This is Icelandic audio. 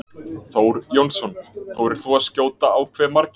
Þór Jónsson: Þorir þú að skjóta á hve margir?